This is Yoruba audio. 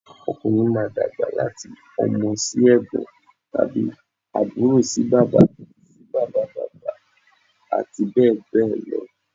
Ọkùnrin máa dàgbà láti ọmọ sí ẹ̀gbọ́n tàbí àbúrò sí bàbá sí bàbá bàbá àti bẹ́ẹ̀ bẹ́ẹ̀ lọ